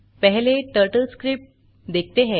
पहले टर्टलस्क्रिप्ट देखते हैं